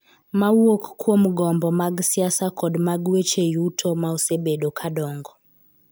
ma wuok kuom gombo mag siasa kod mag weche yuto ma osebedo ka dongo.